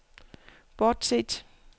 bortset